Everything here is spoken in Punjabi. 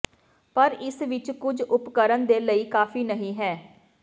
ਪਰ ਇਸ ਵਿੱਚ ਕੁਝ ਉਪਕਰਣ ਦੇ ਲਈ ਕਾਫ਼ੀ ਨਹੀ ਹੈ